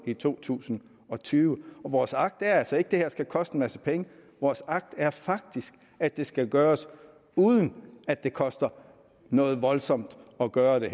i to tusind og tyve vores agt er altså ikke at det her skal koste en masse penge vores agt er faktisk at det skal gøres uden at det koster noget voldsomt at gøre det